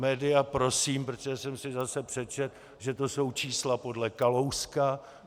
Média prosím, protože jsem si zase přečetl, že to jsou čísla podle Kalouska.